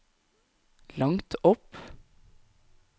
langt opp